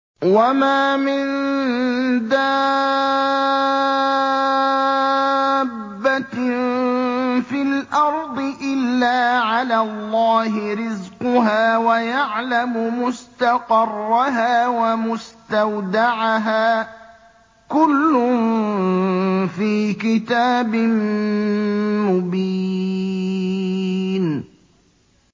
۞ وَمَا مِن دَابَّةٍ فِي الْأَرْضِ إِلَّا عَلَى اللَّهِ رِزْقُهَا وَيَعْلَمُ مُسْتَقَرَّهَا وَمُسْتَوْدَعَهَا ۚ كُلٌّ فِي كِتَابٍ مُّبِينٍ